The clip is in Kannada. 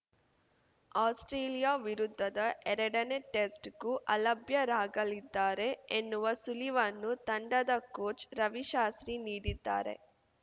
ಆಸ್ಪ್ರೇಲಿಯಾ ವಿರುದ್ಧದ ಎರಡನೇ ಟೆಸ್ಟ್‌ಗೂ ಅಲಭ್ಯರಾಗಲಿದ್ದಾರೆ ಎನ್ನುವ ಸುಳಿವನ್ನು ತಂಡದ ಕೋಚ್‌ ರವಿಶಾಸ್ತ್ರಿ ನೀಡಿದ್ದಾರೆ